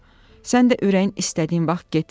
Sən də ürəyin istədiyin vaxt get gəl.